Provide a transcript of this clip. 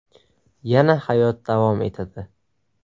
Yana hayot davom etadi.